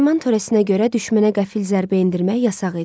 Nayman törəsinə görə düşmənə qəfil zərbə endirmək yasaq idi.